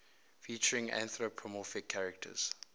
featuring anthropomorphic characters